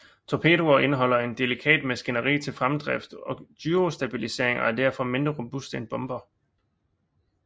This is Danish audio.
Torpedoer indeholder et delikat maskineri til fremdrift og gyrostabilisering og er derfor mindre robuste end bomber